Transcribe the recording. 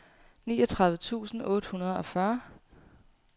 niogtredive tusind otte hundrede og fyrre